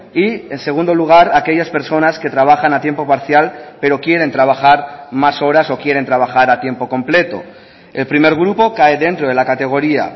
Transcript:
y en segundo lugar aquellas personas que trabajan a tiempo parcial pero quieren trabajar más horas o quieren trabajar a tiempo completo el primer grupo cae dentro de la categoría